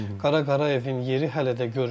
Qara Qarayevin yeri hələ də görünür.